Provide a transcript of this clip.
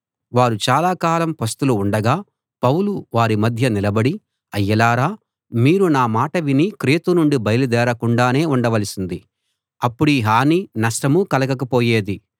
వారు చాలాకాలం పస్తులు ఉండగా పౌలు వారి మధ్య నిలబడి అయ్యలారా మీరు నా మాట విని క్రేతు నుండి బయలుదేరకుండానే ఉండవలసింది అప్పుడీ హానీ నష్టమూ కలగకపోయేది